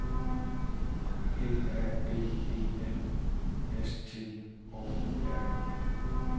B A B E L S T Å R N